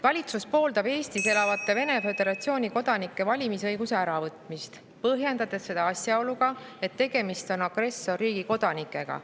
Valitsus pooldab Eestis elavate Vene föderatsiooni kodanike valimisõiguse äravõtmist, põhjendades seda asjaoluga, et tegemist on agressorriigi kodanikega.